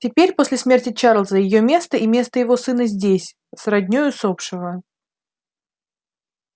теперь после смерти чарлза её место и место его сына здесь с родней усопшего